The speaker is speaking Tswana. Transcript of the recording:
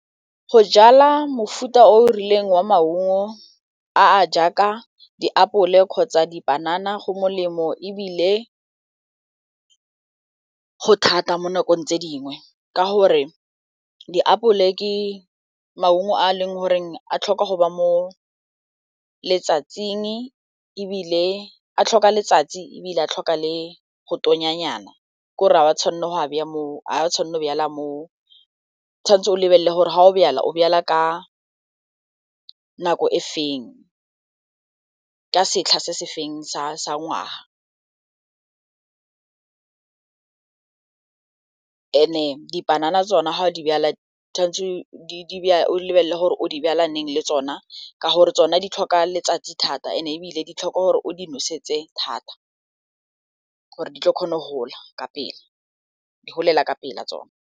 Go jala mofuta o o rileng wa maungo a a jaaka diapole kgotsa dipanana go molemo ebile go thata mo nakong tse dingwe, ka gore diapole ke maungo a eleng gore a tlhoka go ba mo letsatsing a tlhoka letsatsi ebile a tlhoka le go tonya nyana, ke gore o tshwanetse o lebelele gore ga o jala, o jala ka nako e feng, ka setlha se se feng sa ngwaga. And-e dipanana tsona, ga o di jala, tshwanetse o lebelele gore o di jala leng le tsona ka gore tsona di tlhoka letsatsi thata, and-e ebile ditlhokwa gore o di noseditse thata gore di tlo kgona go gola ka pela, di golela ka pela tsona.